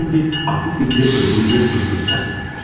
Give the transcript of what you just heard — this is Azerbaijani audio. İndi ağlı fikri öldürdüyü günahsız qadındadır.